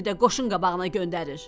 İndi də qoşun qabağına göndərir.